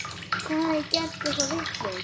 Hvar hafði ég gert eitthvað vitlaust?